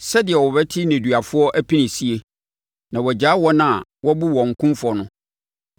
sɛdeɛ ɔbɛte nneduafoɔ apinisie na wagyaa wɔn a wɔabu wɔn kumfɔ no.”